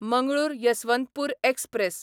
Mangalore Yesvantpur express